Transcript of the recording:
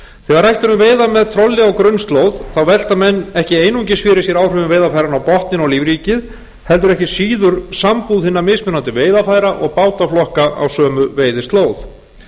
þegar rætt er um veiðar með trolli á grunnslóð velta menn ekki einungis fyrir sér áhrif veiðarfæranna á botninn og lífríkið heldur ekki síður sambúð hinna mismunandi veiðarfæra og bátaflokka á sömu veiðislóð